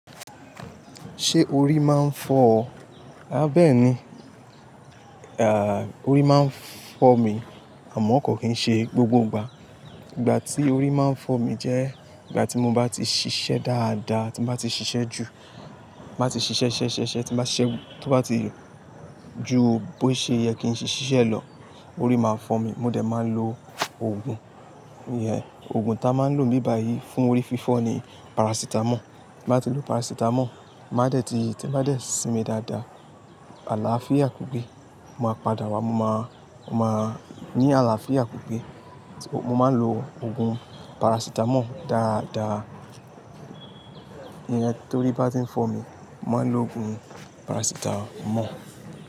Ṣé orí máa ń fọ ọ? Bẹ́ẹ̀ni, à orí máa ń fọ̀ mí àmọ́ kò kí ń ṣe gbogbo ìgbà. Ìgbà tí orí máa ń fọ̀ mí jẹ́ ìgbà tí mo bá ti ṣiṣẹ́ dáadáa, tí mo bá ti ṣiṣẹ́ jù, ti n bá ti ṣiṣẹ́ ṣisẹ ṣiṣẹ, tí mo bá ṣẹ́ tó bá ti ju bó ṣe yẹ kí n ṣe ṣiṣẹ́ lọ, orí máa ń fọ̀ mí. Mo dẹ̀ máa lo òògùn. Òògùn ta máa ń lò n bi bàyí fún orí fífọ́ ni paracetamol. Ti mo bá ti lo paracetamol, tí bá dẹ̀ sinmi dáadáa, àlàáfíà ku gbé. Mo máa padà wá, mo máa, mo máa ní àlàáfíà pipe. Mo máa ń lo òògùn paracetamol dáadáa. Iyen tó rí bá ti ń fọ̀ mí, mo máa ń lo òògùn paracetamol.